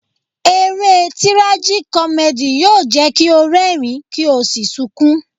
Eré Tirajikọ́mẹ́dì yóò jẹ́ kí o rẹ́rìń, kí o sì sunkún.